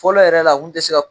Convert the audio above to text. Fɔlɔ yɛrɛ la mun ti se ka